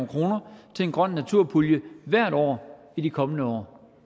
kroner til en grøn naturpulje hvert år i de kommende år